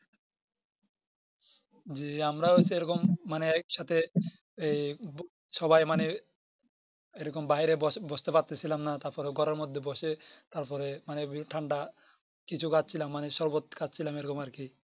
জি আমরা হচ্ছে এরকম মানে একসাথে এই সবাই মানে এরকম বাইরে বসতে পারছিলাম না তারপরে ঘরের মধ্যে বসে তারপরে মানে ঠান্ডা কিছু খাচ্ছিলাম মানে শরবত খাচ্ছিলাম এরকম আরকি